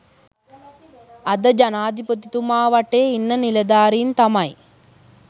අද ජනාධිපතිතුමා වටේ ඉන්න නිලධාරින් තමයි